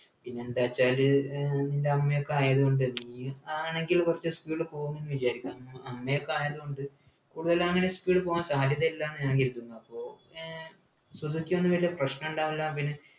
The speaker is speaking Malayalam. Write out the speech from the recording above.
പിന്നെന്താച്ചാല് ഏർ ൻ്റെ അമ്മയൊക്കെ ആയതുകൊണ്ട് നീ ആണെങ്കില് കുറച്ച് speed ൽ പോകും ന്നു വിചാരിക്കാ അമ്മയൊക്കെആയതുകൊണ്ട് കൂടുതലങ്ങനെ speed പോകാൻ സാധ്യതയില്ലന്നു ഞാൻ കരുതുന്നു അപ്പൊ ഏർ സുസുക്കി കൊണ്ട് വെല്ല പ്രശ്നണ്ടാവില്ല പിന്നെ